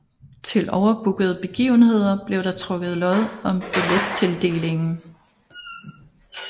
Til overbookede begivenheder blev der trukket lod om billettildelingen